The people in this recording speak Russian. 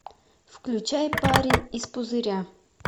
включай парень из пузыря